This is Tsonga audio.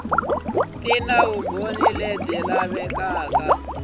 ti na vumbhoni bya leswaku